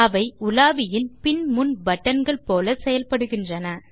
அவை உலாவியின் பின் முன் பட்டன்கள் போல செயல்படுகின்றன